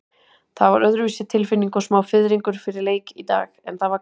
Það var öðruvísi tilfinning og smá fiðringur fyrir leik í dag, en það var gaman.